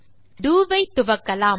நாம் டோ ஐ துவக்கலாம்